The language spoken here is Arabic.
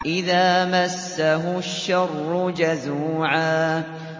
إِذَا مَسَّهُ الشَّرُّ جَزُوعًا